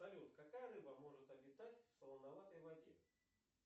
салют какая рыба может обитать в солоноватой воде